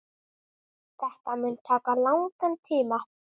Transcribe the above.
Þetta mun taka langan tíma.